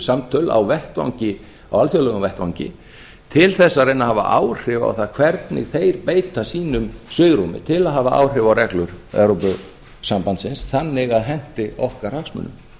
samtöl á alþjóðlegum vettvangi til þess að reyna að hafa áhrif á það hvernig þeir beita sínu svigrúmi til að hafa áhrif á reglur evrópusambandsins þannig að henti okkar hagsmunum